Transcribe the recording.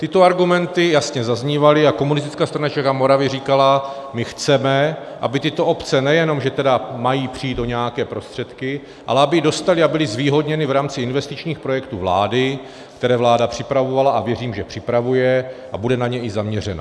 Tyto argumenty jasně zaznívaly a Komunistická strana Čech a Moravy říkala: my chceme, aby tyto obce, nejenom že tedy mají přijít o nějaké prostředky, ale aby dostaly a byly zvýhodněny v rámci investičních projektů vlády, které vláda připravovala, a věřím, že připravuje a bude na ně i zaměřena.